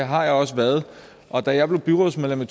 har jeg også været og da jeg blev byrådsmedlem i